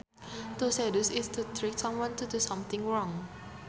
To seduce is to trick someone to do something wrong